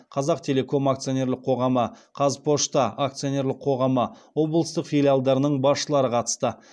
қазақтелеком акцонерлік қоғамы қазпочта акционерлік қоғамы облыстық филиалдарының басшылары қатысты